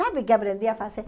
Sabe o que aprendi a fazer?